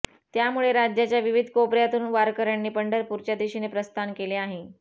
त्यामुळे राज्याच्या विविध कोपऱ्यातून वारकऱ्यांंनी पंढरपूरच्या दिशेने प्रस्थान केले आहे